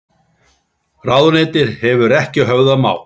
Ráðuneytið hefur ekki höfðað mál